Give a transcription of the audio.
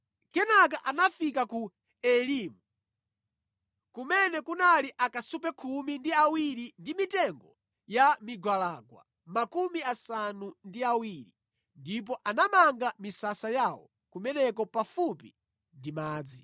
Kenaka anafika ku Elimu, kumene kunali akasupe khumi ndi awiri ndi mitengo ya migwalangwa makumi asanu ndi awiri, ndipo anamanga misasa yawo kumeneko pafupi ndi madzi.